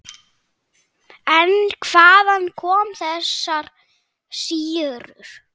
En hvaðan koma þessar sýrur?